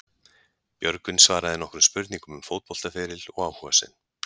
Björgvin svaraði nokkrum spurningum um fótboltaferil og áhuga sinn.